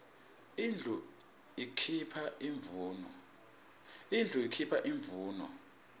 tindlu tikuipha imvuno